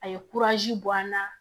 A ye bɔ an na